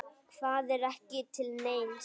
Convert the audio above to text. Hvað er ekki til neins?